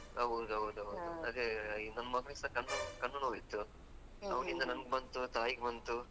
ಹೌದ್ ಹೌದ್ ಹೌದು, ಅದೇ ಈಗ ನಮ್ ಮಗನಿಗೆ ಸಾ ಕಣ್ಣು ಕಣ್ಣು ನೋವು ಇತ್ತು ಅವನಿಂದ ನಂಗ್ ಬಂತು ತಾಯಿಗ್ ಬಂತು.